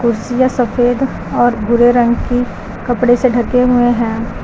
कुर्सियां सफेद और भूरे रंग की कपड़े से ढके हुए हैं।